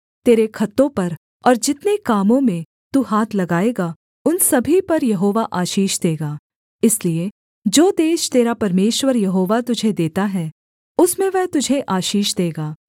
तेरे खत्तों पर और जितने कामों में तू हाथ लगाएगा उन सभी पर यहोवा आशीष देगा इसलिए जो देश तेरा परमेश्वर यहोवा तुझे देता है उसमें वह तुझे आशीष देगा